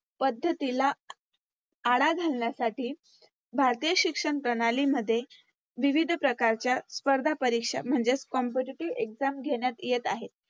पद्धतीला आळा घालण्यासाठी भारतीय शिक्षणप्रणाली मध्ये विविध प्रकारच्या स्पर्धा परीक्षा म्हणजेच Competitive exam घेण्यात येत आहेत.